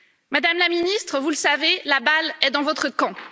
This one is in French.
Madame la Ministre, vous le savez, la balle est dans votre camp.